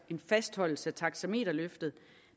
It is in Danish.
en fastholdelse af taxameterløftet